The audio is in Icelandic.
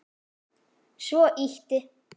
Svo ýtti